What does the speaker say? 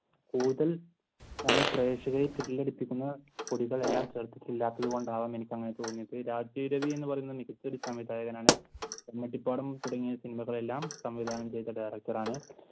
കൂടുതൽ സമയം പ്രക്ഷേകരെ thrill അടിപ്പിക്കുന്ന ഇല്ലാത്തതുകൊണ്ടാവാം എനിക്ക് അങ്ങനെ തോന്നിയത് മികച്ച ഒരു സംവിധായകനാണ്. കമ്മട്ടി പാഠം തുടങ്ങിയ സിനിമകളെല്ലാം സംവിധാനം ചെയ്ത director ആണ്